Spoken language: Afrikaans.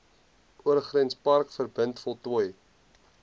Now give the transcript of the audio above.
oorgrenspark verbind voltooi